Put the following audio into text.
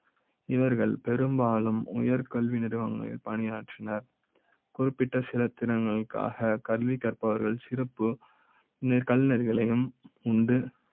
இவர்கள் பெரும்பாலும் உயர் கல்வி நிறுவனங்களில் பணியாற்றி னர் குறிப்பிட்ட சில தின ங்களுக்காக கல்வி கற்ப வர்கள் சிறப்பு கலைஞர்களையும் உண்டு